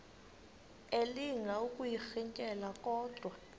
elinga ukuyirintyela kodwa